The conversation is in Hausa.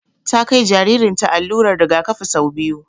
Ta kai jaririn ta allurar rigakafi sau biyu